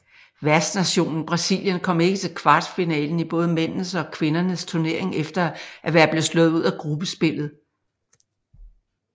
Værtsnationen Brasilien kom ikke til kvartfinalen i både mændenes og kvindernes turnering efter at være blevet slået ud af gruppespillet